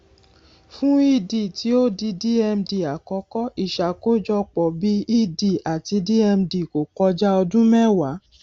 fún ed tí ó di dmd àkókò ìṣákojọpọ bí ed àti dmd kò kọjá ọdún mẹwàá